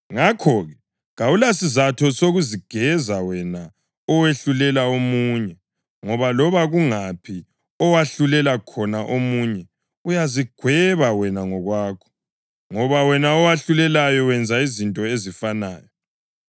Ngakho-ke, kawulasizatho sokuzigeza wena owahlulela omunye, ngoba loba kungaphi owahlulela khona omunye, uyazigweba wena ngokwakho, ngoba wena owahlulelayo wenza izinto ezifanayo.